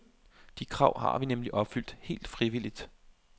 De krav har vi nemlig opfyldt, helt frivilligt.